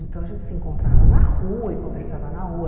Então a gente se encontrava na rua e conversava na rua.